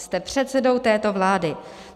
Jste předsedou této vlády.